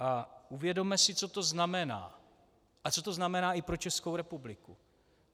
A uvědomme si, co to znamená a co to znamená i pro Českou republiku.